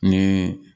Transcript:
Ni